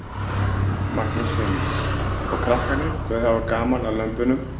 Magnús Hlynur: Og krakkarnir þau hafa gaman að lömbunum?